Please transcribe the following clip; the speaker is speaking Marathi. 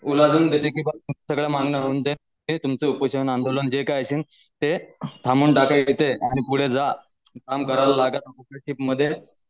ओलाझुन जे काय असेल ते आणि पुढे जा काम मध्ये